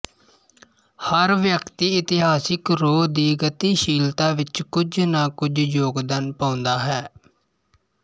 ਹਰ ਵਿਅਕਤੀ ਇਤਿਹਾਸਿਕ ਰੋਅ ਦੀ ਗਤਸ਼ੀਲਤਾ ਵਿਚ ਕੁਝ ਨਾ ਕੁਝ ਯੋਗਦਾਨ ਪਾਉਂਦਾ ਹੈ